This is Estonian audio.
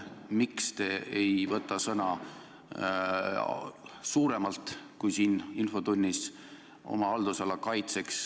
Miks te ei võta oma haldusala kaitseks sõna laiemalt kui siin infotunnis?